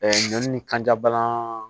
ɲɔn ni kanjabana